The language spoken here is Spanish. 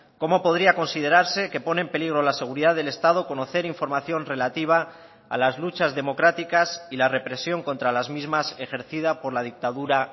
cómo podría considerarse que pone en peligro la seguridad del estado conocer información relativa a las luchas democráticas y la represión contra las mismas ejercida por la dictadura